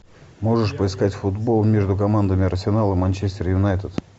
можешь поискать футбол между командами арсенал и манчестер юнайтед